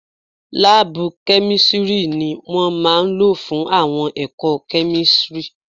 Láàbù kẹ́místrì ni wọ́n máa lò fún àwọn ẹ̀kọ́ kẹ́místrì